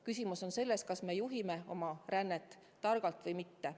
Küsimus on selles, kas me juhime rännet targalt või mitte.